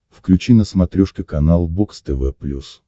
включи на смотрешке канал бокс тв плюс